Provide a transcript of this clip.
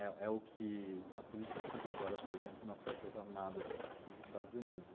É é o que a política que vigora, por exemplo, nas forças armadas nos Estados Unidos.